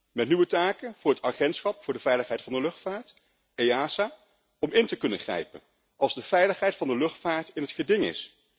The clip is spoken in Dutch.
en met nieuwe taken voor het Agentschap voor de veiligheid van de luchtvaart om in te kunnen grijpen als de veiligheid van de luchtvaart in het geding is.